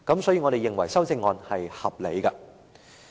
所以，我們認為修正案是合理的。